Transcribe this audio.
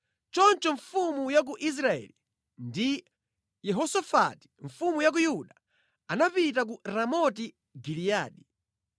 Choncho mfumu ya ku Israeli ndi Yehosafati mfumu ya ku Yuda anapita ku Ramoti Giliyadi.